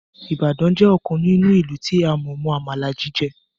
Ìbàdàn jẹ́ ọ̀kan nínú ìlú tí a mọ̀ mọ Àmàlà jíjẹ